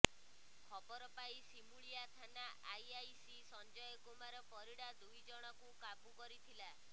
ଖବର ପାଇ ସିମୁଳିଆ ଥାନା ଆଇଆଇସି ସଞ୍ଜୟ କୁମାର ପରିଡ଼ା ଦୁଇ ଜଣକୁ କାବୁ କରିଥିଲା